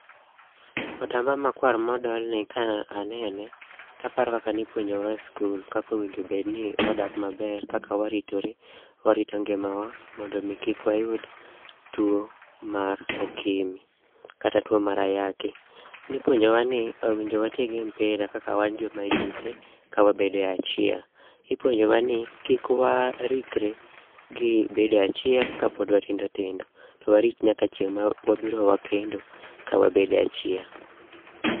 Otamba makwar modolni ka anene taparo kaka nipuonjowa e skul. Kakowinjo bedni wadak maber, kaka waritore, warito ngimawa mondo mi kik wayud tuo mar okimi, kata tuo mar ayaki. Nipuonjowa ni owinjo watigi mpira kaka joma yudhe, kawabede achiel. Ipuonjowa ni kik warikre gi bede achiel kapod watindo tindo, to warit nyaka chieng' ma wabiro wakendo ka wabede achiel.